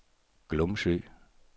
Glumsø